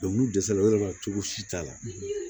n'u dɛsɛra o yɔrɔ la cogo si t'a la